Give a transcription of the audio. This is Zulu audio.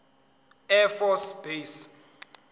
air force base